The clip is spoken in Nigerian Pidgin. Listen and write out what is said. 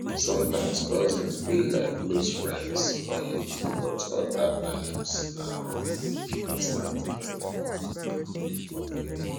sometimes cousins be like close friends um but other times na um distant kin